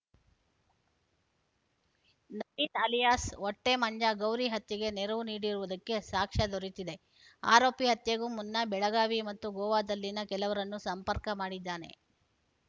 Naveen alias Hottemanja Gauri ಹತ್ಯೆಗೆ ನೆರವು ನೀಡಿರುವುದಕ್ಕೆ ಸಾಕ್ಷ್ಯ ದೊರೆತಿದೆ ಆರೋಪಿ ಹತ್ಯೆಗೂ ಮುನ್ನ ಬೆಳಗಾವಿ ಮತ್ತು ಗೋವಾದಲ್ಲಿನ ಕೆಲವರನ್ನು ಸಂಪರ್ಕ ಮಾಡಿದ್ದಾನೆ